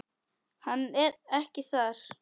Hann ekki þar.